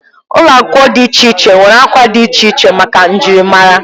Ụlọ akwụkwọ dị iche iche nwere akwa dị iche iche maka njirimara.